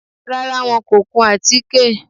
Rárá, wọn kò kun àtíké